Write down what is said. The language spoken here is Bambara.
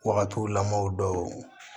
Wagatiw lamɔw dɔw